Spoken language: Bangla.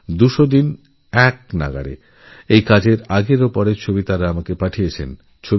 একটানা দুশোদিন সাফাইয়ের আগের ও পরের দুটো ছবিই ওঁরা আমায় পাঠিয়েছেন